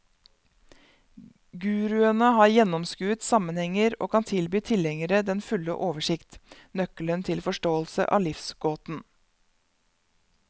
Guruene har gjennomskuet sammenhenger og kan tilby tilhengerne den fulle oversikt, nøkkelen til forståelse av livsgåten.